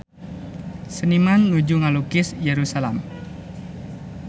Seniman nuju ngalukis Yerusalam